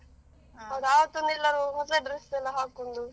ಹೌದು ಆವತ್ತು ಒಂದು ಎಲ್ಲರು ಹೊಸ dress ಎಲ್ಲ ಹಾಕೊಂಡು.